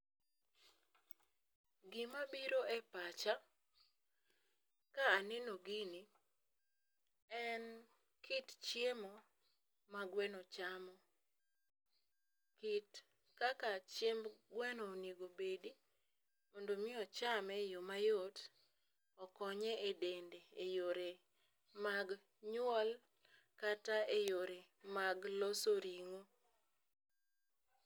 Gimabiro e pacha ka aneno gini en kit chiemo ma gweno chamo , kit kaka chiemb gweno onego bedi mondo mi ochame e yoo mayot okonye e dende e yore mag nyuol kata e yore mag loso ring'o.